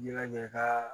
Ɲɛnajɛ ka